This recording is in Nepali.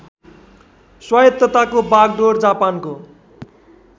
स्वायत्तताको बागडोर जापानको